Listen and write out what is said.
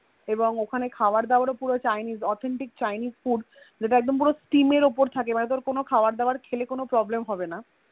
এবং ওখানে খাওয়া দাওয়াও পুরো Chinese authentic chinese food যেটা পূরো Steam এর ওপর থাকে যেটা খেলে তোর কোনো Problem হবেনা